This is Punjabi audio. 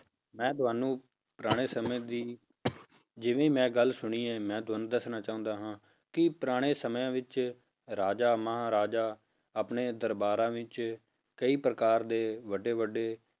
ਮੈਂ ਤੁਹਾਨੂੰ ਪੁਰਾਣੇ ਸਮੇਂ ਦੀ ਜਿਵੇਂ ਮੈਂ ਗੱਲ ਸੁਣੀ ਹੈ ਮੈਂ ਤੁਹਾਨੂੰ ਦੱਸਣਾ ਚਾਹੁੰਦਾ ਹਾਂ ਕਿ ਪੁਰਾਣੇ ਸਮਿਆਂ ਵਿੱਚ ਰਾਜਾ ਮਹਾਰਾਜਾ ਆਪਣੇ ਦਰਬਾਰਾਂ ਵਿੱਚ ਕਈ ਪ੍ਰਕਾਰ ਦੇ ਵੱਡੇ ਵੱਡੇ